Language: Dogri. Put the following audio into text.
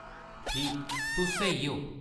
ठीक, तुस स्हेई ओ।